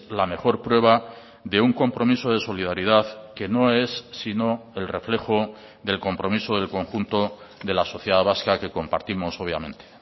la mejor prueba de un compromiso de solidaridad que no es sino el reflejo del compromiso del conjunto de la sociedad vasca que compartimos obviamente